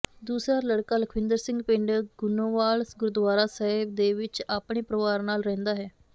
ਦੂਸਰਾ ਲੜਕਾ ਲਖਵਿੰਦਰ ਸਿੰਘ ਪਿੰਡ ਗੁਨੋਵਾਲ ਗੁਰਦੁਆਰਾ ਸਾਹਿਬ ਦੇ ਵਿਚ ਆਪਣੇ ਪਰਿਵਾਰ ਨਾਲ ਰਹਿੰਦਾ ਹੈ